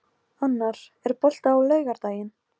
Nansý, hvernig kemst ég þangað?